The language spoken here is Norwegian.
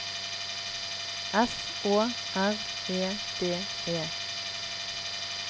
S Å R E D E